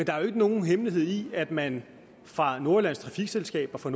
er jo ikke nogen hemmelighed at man fra nordjyllands trafikselskab og fra